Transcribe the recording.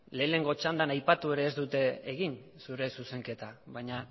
lehengo txandan aipatu ere ez dut egin zure zuzenketa baina